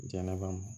Jɛnɛba